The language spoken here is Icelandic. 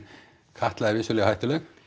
Katla er vissulega hættuleg